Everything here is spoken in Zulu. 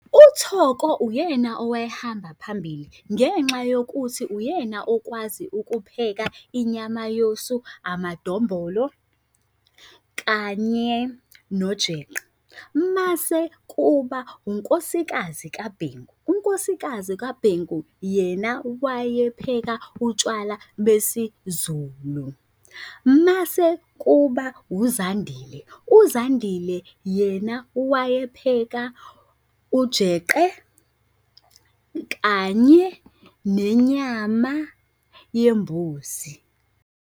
Uthoko uyena owayehamba phambili ngenxa yokuthi uyena okwazi ukupheka inyama yosu, amadombolo, kanye nojeqe. Mase kuba unkosikazi kaBhengu. Unkosikazi kaBhengu yena wayephekela utshwala besiZulu. Mase kuba uZandile, uZandile yena wayephekela ujeqe kanye nenyama yembuzi.